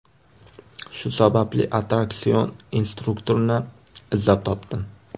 Shu sababli attraksion instruktorini izlab topdim.